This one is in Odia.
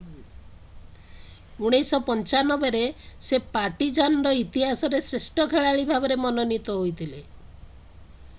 1995ରେ ସେ ପାର୍ଟିଜାନ୍‌ର ଇତିହାସରେ ଶ୍ରେଷ୍ଠ ଖେଳାଳି ଭାବରେ ମନୋନୀତ ହୋଇଥିଲେ ।